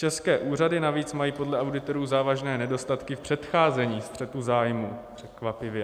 České úřady navíc mají podle auditorů závažné nedostatky v předcházení střetu zájmů - překvapivě.